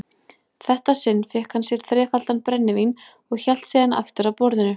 þetta sinn fékk hann sér þrefaldan brennivín og hélt síðan aftur að borðinu.